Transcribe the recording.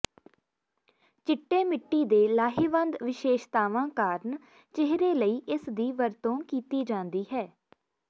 ਚਿੱਟੇ ਮਿੱਟੀ ਦੇ ਲਾਹੇਵੰਦ ਵਿਸ਼ੇਸ਼ਤਾਵਾਂ ਕਾਰਨ ਚਿਹਰੇ ਲਈ ਇਸ ਦੀ ਵਰਤੋਂ ਕੀਤੀ ਜਾਂਦੀ ਹੈ